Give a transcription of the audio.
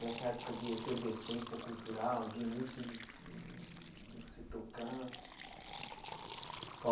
Dessa época de efervescência cultural, de início de hum de você tocar?